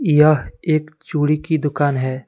यह एक चूड़ी की दुकान है।